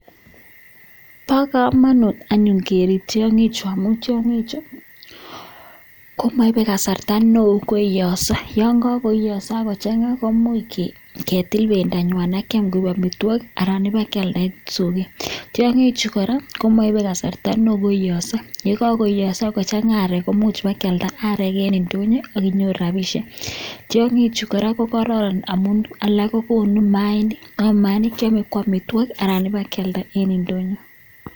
Bogomonut anyun kerjbtiongik Chuu amun tiongik Chuu komoibe kasarta Noe koiyoso yon ko koiyoso akochanga koimuch ketl bendo nywan akian koik amitwokik Alan keib kwalda en Soget tiongichu kora komoibe kasarta neo koiyoso yekaiyoso kochanga arek kimuche keib kwalda arek en nfonyo akinyoru rabishek tiongichu kora ko kororon amun konu mainik keyome Alan keib kealdo en ndonyo.